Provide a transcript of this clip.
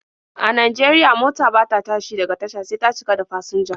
A Najeriya, mota bata tashi daga tasha sai ta cika da fasinja.